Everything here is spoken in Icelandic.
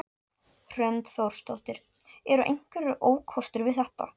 Hrund Þórsdóttir: Eru einhverjir ókostir við þetta?